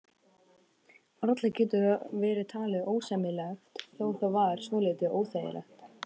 Varla getur það talist ósæmilegt, þó það væri svolítið óþægilegt.